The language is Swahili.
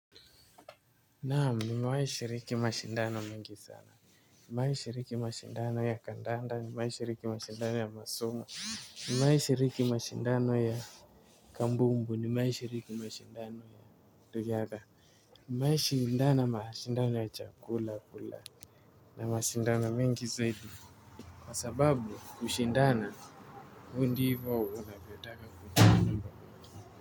Naamu nimewahishiriki mashindano mingi sana. Nimewahishiriki mashindano ya kandanda nimewahishiriki mashindano ya masomo. Nimewahishiriki mashindano ya kambumbu nimewahishiriki mashindano ya riadha nimewahishindana mashindano ya chakula. Na mashindano mingi zaidi kwa sababu kushindana huu ndivo unavyotaka kuna.